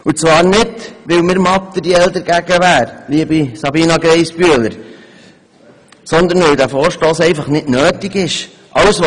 Wir tun dies nicht, weil wir materiell dagegen wären, liebe Sabina Geissbühler, sondern weil dieser Vorstoss einfach nicht nötig ist.